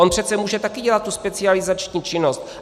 On přece může taky dělat tu specializační činnost.